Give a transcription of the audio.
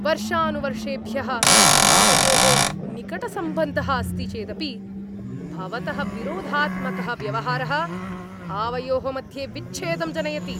वर्षानुवर्षेभ्यः आवयोः निकटसम्बन्धः अस्ति चेदपि भवतः विरोधात्मकः व्यवहारः आवयोः मध्ये विच्छेदं जनयति।